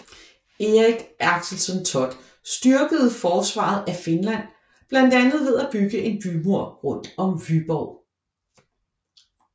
Erik Axelsson Thott styrkede forsvaret af Finland blandt andet ved at bygge en bymur rundt om Vyborg